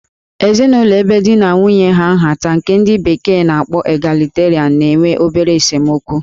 Ezinụlọ ebe di na nwunye ha nhata nke ndi bekee n'akpọ 'Egalitarian' na-enwe obere esemokwu